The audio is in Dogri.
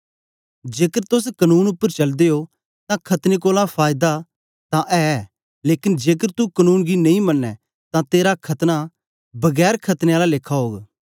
जेकर तोस कनून उपर चलदे ओ तां खतने कोलां फायदा तां ऐ लेकन जेकर तू कनून गी नेई मनें तां तेरा खतना बिना खतने आला लेखा ओग